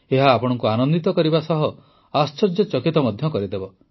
ଏହା ଆପଣଙ୍କୁ ଆନନ୍ଦିତ କରିବା ସହ ଆଶ୍ଚର୍ଯ୍ୟଚକିତ ମଧ୍ୟ କରିବ